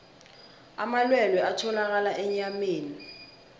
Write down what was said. amalwelwe atholakala enyameni